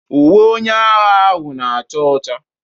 Uwe onye agha ahụ na acha ọcha.